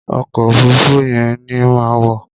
Ọkọ̀ òfuruufú yẹn ni màá wọ̀.